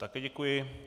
Taky děkuji.